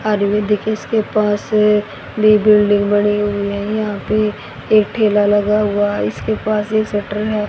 आज भी दिखे इसके पास भी बिल्डिंग बनी हुई है यहां पे एक ठेला लगा हुआ इसके पास एक शटर है।